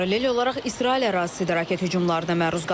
Paralel olaraq İsrail ərazisi də raket hücumlarına məruz qalıb.